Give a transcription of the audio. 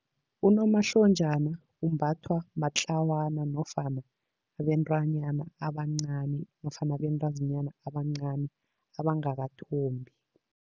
Unomahlonjana umbathwa matlawana nofana abentwanyana abancani nofana abentazinyana abancani, abangakathombi.